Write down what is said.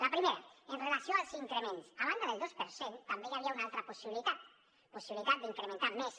la primera amb relació als increments a banda del dos per cent també hi havia una altra possibilitat d’incrementar més